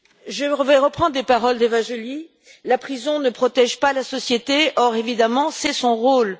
Je vais reprendre les paroles d'Eva Joly La prison ne protège pas la société or, évidemment, c'est son rôle.